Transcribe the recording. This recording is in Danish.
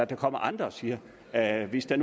der kommer andre og siger at hvis der